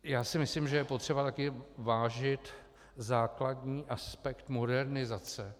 Já si myslím, že je potřeba taky vážit základní aspekt modernizace.